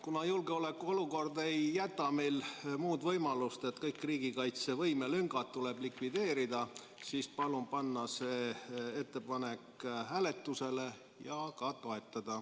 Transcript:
Kuna julgeoleku olukord ei jäta meile muud võimalust, et kõik riigikaitse lüngad likvideerida, palun panna see ettepanek hääletusele ja seda ka toetada.